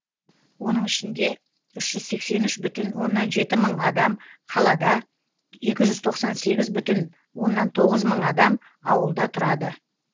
оның ішінде үш жүз сексен үш бүтін оннан жеті мың адам қалада екі жүз тоқсан сегіз бүтін оннан тоғыз мың адам ауылда тұрады